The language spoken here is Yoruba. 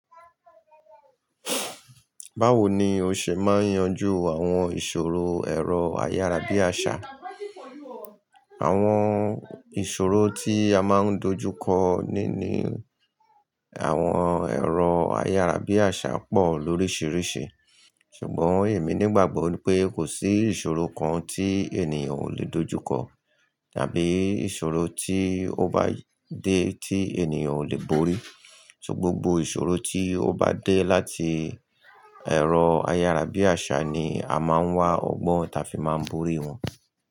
Báwo ni o ṣe máa ń yanjú àwọn ìṣòro ẹ̀rọ ayárabíàṣá? Àwọn ìṣòro tí a máa ń dojú kọ níní àwọn ẹ̀rọ ayárabíàṣá pọ̀ lóríṣìíríṣìí. Ṣùgbọ́n èmi nígbàgbọ́ pé kò sí ìṣòro kan tí ènìyàn ò le dojú kọ, tàbí ìṣòro tí ó bá dé tí ènìyàn ò le borí. So gbogbo ìṣòro tí ó bá dé láti ẹ̀rọ ayárabíàṣá ni a máa ń wá ọgbọ́n ta fi máa ń borí wọn.